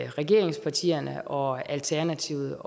regeringspartierne og alternativet